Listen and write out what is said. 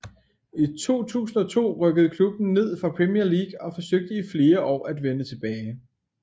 I 2002 rykkede klubben ned fra Premier League og forsøgte i flere år at vende tilbage